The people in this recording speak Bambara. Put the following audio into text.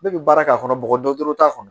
Ne bɛ baarakɛ a kɔnɔ bɔgɔ doro doro t'a kɔnɔ.